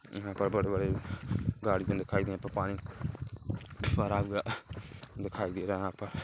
यहाँ पर बड़े-बड़े गाड़ी दिखाई दे रहे हैं यहाँ पर पानी भरा हुआ दिखाई दे रहा है यहाँ पर--